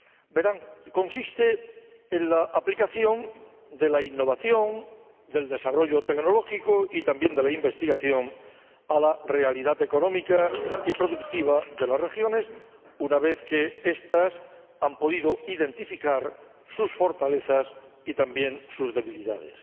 Verán consisten en la aplicación de la innovación, del desarrollo tecnológico y también de la investigación a la realidad económica y productiva de las regiones, una vez que estas han podido identificar sus fortalezas y también sus debilidades.